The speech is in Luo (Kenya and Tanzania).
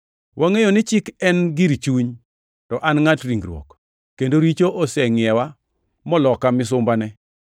Wangʼeyo ni Chik en gir chuny; to an ngʼat ringruok, kendo richo osengʼiewa moloka misumbane.